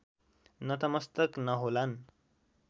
नतमस्तक नहोलान्